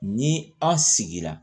Ni an sigira